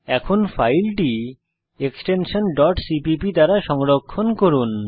এখন ফাইলটি cpp extension দিয়ে সংরক্ষণ করুন